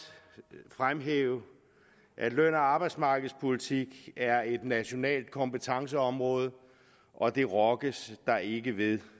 fremhæve at løn og arbejdsmarkedspolitik er et nationalt kompetenceområde og det rokkes der ikke ved